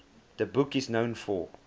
the book is known for